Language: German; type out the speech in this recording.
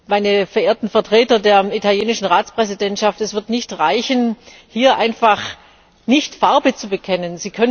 Meine verehrten Vertreter der italienischen Ratspräsidentschaft, es wird nicht reichen, hier einfach nicht Farbe zu bekennen.